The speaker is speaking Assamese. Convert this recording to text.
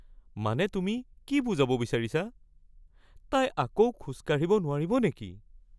মানে তুমি কি বুজাব বিচাৰিছা? তাই আকৌ খোজ কাঢ়িব নোৱাৰিব নেকি?